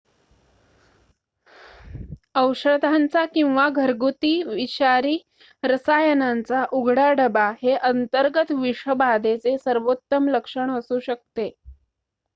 औषधांचा किंवा घरगुती विषारी रसायनांचा उघडा डबा हे अंतर्गत विषबाधेचे सर्वोत्तम लक्षण असू शकते